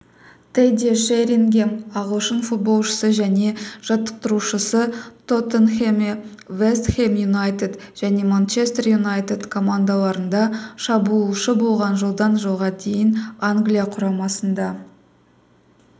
тедди шерингем ағылшын футболшысы және жаттықтырушысы тоттенхэме вест хэм юнайтед және манчестер юнайтед командаларында шабуылшы болған жылдан жылға дейін англия құрамасында